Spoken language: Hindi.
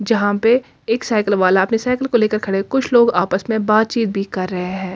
जहाँ पे एक साइकिल वाला अपनी साइकिल को लेके खड़े कुछ लोग आपस मे बात चीत भी कर रहे है।